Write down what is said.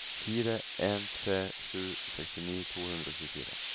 fire en tre sju sekstini to hundre og tjuefire